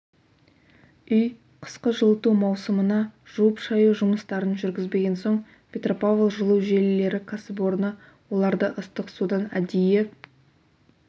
үй қысқы жылыту маусымына жуып-шаю жұмыстарын жүргізбеген соң петропавл жылу желілері кәсіпорны оларды ыстық судан әдейі